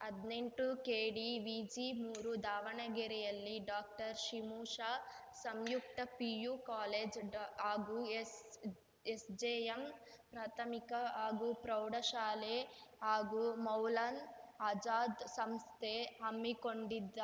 ಹದ್ನೆಂಟುಕೆಡಿವಿಜಿಮೂರು ದಾವಣಗೆರೆಯಲ್ಲಿ ಡಾಕ್ಟರ್ಷಿಂಶ ಸಂಯುಕ್ತ ಪಿಯು ಕಾಲೇಜ್ ಹಾಗೂ ಎಸ್‌ಜೆಎಂ ಪ್ರಾಥಮಿಕ ಹಾಗೂ ಪ್ರೌಢಶಾಲೆ ಹಾಗೂ ಮೌಲನ್ ಆಜಾದ್‌ ಸಂಸ್ಥೆ ಹಮ್ಮಿಕೊಂಡಿದ್ದ